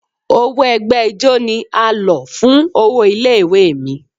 Owó ẹgbẹ́ ijó ni a lọ̀ fún owó ilé ìwé mi.